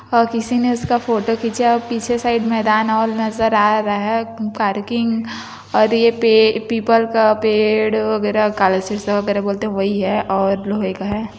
और किसी ने उसका फोटो खींचा है पीछे साईड मैदान ऑल नजर आ रहा है पार्किंग और ये पीपल का पेड़ वगेरा वगेरा बोलते है वही है और लोहे का है।